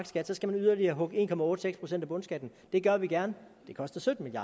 skat skal man yderligere hugge en procent af bundskatten det gør vi gerne det koster sytten